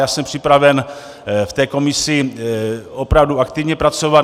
Já jsem připraven v té komisi opravdu aktivně pracovat.